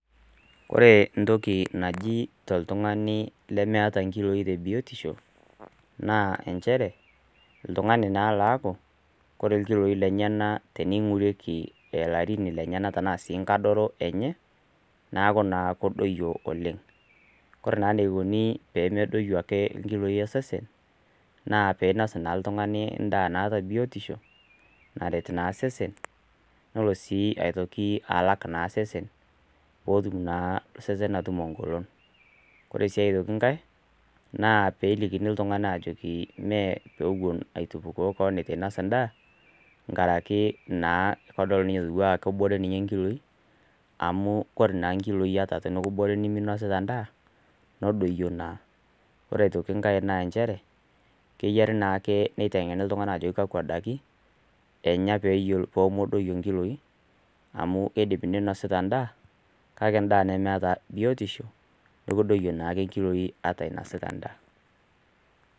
ore entoki naji toltung'ani lemeata ilkiloi te biotisho, naa nchere, oltung'ani naa laaku, ore naa ilkiloi lenyena teneing'orieki naa ilarin sii we enkadoro enye, neaku naa kedoiyo oleng'. Ore naa eneikuni pee medoiyo ake ilkiloi lolsesen, naa peinos naa oltung'ani naa endaa naata biotisho, naret naa osesen, nelo naa sii aitoki naa alak naa osesen, peetum naa osesen atutumo eng'olon. Ore sii aitooki enkai, naa peelikini iltung'ana aajoki mee pee ewuen aitupukoo kewon eitu naa einos endaa, enkaraki naa kedol naa ninye atiu anaa kebore ninye ilkiloi, amu ore naa ilkiloi tenekibore neminosita endaa, nedoiyo na. Ore aitoki enkai naa nchere, keyiare naake neiteng'eni iltung'ana naa ajoki kakwa daiki enya pee medoiyo ilkiloi, amu keidim ninosita endaa, kake endaa nemeata biotisho, neaku kedoiyo naake ilkiloi ata innosita ina daa.